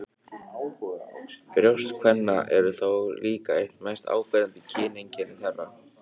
Brjóst kvenna eru þó líka eitt mest áberandi kyneinkenni þeirra.